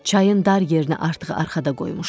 Çayın dar yerini artıq arxada qoymuşduq.